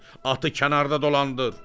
Atı kənarda dolandır.